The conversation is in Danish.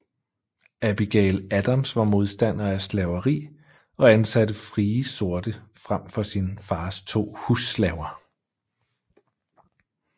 Abigail Adams var modstander af slaveri og ansatte frie sorte frem for sin fars to husslaver